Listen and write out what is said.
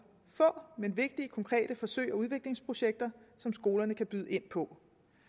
få men vigtige konkrete forsøg og udviklingsprojekter som skolerne kan byde ind på